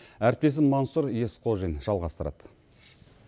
әріптесім мансұр есқожин жалғастырады